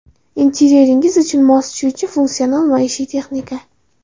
Interyeringiz uchun mos tushuvchi funksional maishiy texnika.